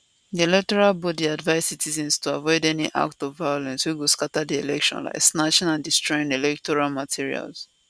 di electoral body advise citizens to avoid any act of violence wey go scata di election like snatching and destroying electoral materials